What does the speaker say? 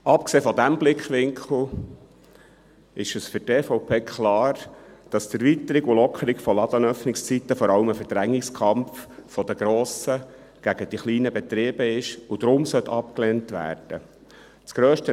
Abgesehen von diesem Blickwinkel ist für die EVP klar, dass die Erweiterung und Lockerung von Ladenöffnungszeiten vor allem ein Verdrängungskampf der grossen gegen die kleinen Betriebe ist und daher abgelehnt werden sollte.